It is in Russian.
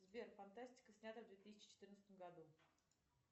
сбер фантастика снятая в две тысячи четырнадцатом году